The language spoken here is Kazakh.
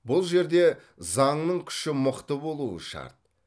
бұл жерде заңның күші мықты болуы шарт